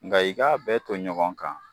Nka i k'a bɛɛ to ɲɔgɔn kan.